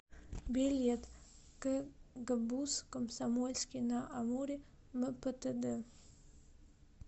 билет кгбуз комсомольский на амуре мптд